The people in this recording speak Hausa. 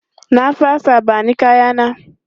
Na fasa, ba ni kaya na!